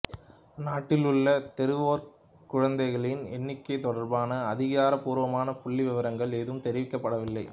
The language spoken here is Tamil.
நாட்டிலுள்ள தெருவோரக் குழந்தைகளின் எண்ணிக்கைத் தொடர்பான அதிகாரப்பூர்வமான புள்ளிவிவரங்கள் ஏதும் தெரிவிக்கப்படவில்லை